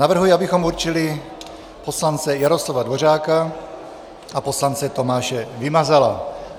Navrhuji, abychom určili poslance Jaroslava Dvořáka a poslance Tomáše Vymazala.